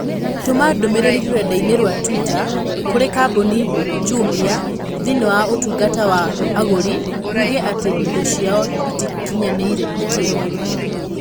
Tũma ndũmĩrĩri rũrenda-inī rũa tũita kũrĩ kambuni Jumia thĩinĩ wa ũtungata wa agũri uuge ati indo ciao ĩtĩkinyanĩire ikĩro.